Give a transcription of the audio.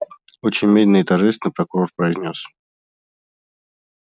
очень медленно и торжественно прокурор произнёс